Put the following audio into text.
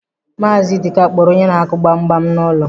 Maazị Ịdịka kpọrọ onye na-akụ gbam gbam n'ụlọ.